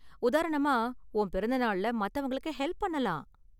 உதாரணமா, உன் பிறந்த நாள்ல மத்தவங்களுக்கு ஹெல்ப் பண்ணலாம்.